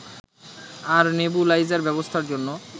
আর nebuliser ব্যবস্থার জন্য